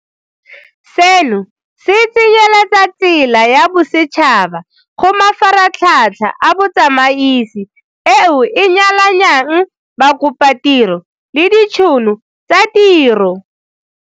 Seno se tsenyeletsa tsela ya bosetšhaba go mafaratlhatlha a botsamaisi eo e nyalanyang bakopatiro le ditšhono tsa tiro.